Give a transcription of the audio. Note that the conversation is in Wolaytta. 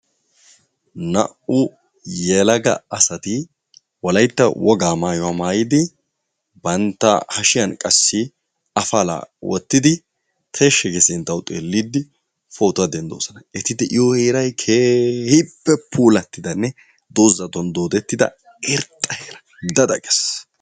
Naa"u yelaga asati wolaytta wogaa maayuwa maayidi bantta hashiyan qassi afalaa wottidi tishshi gi sinttawu xeelliiddi pootuwa denddoosona. Eti de"iyo heerayi keehippe puulattidanne doozatun doodettida irxxa heera. Da da ges.